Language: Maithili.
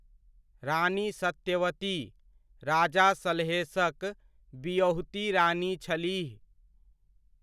रानी सत्यवती, राजा सलहेशक बिअहुती रानी छलीह।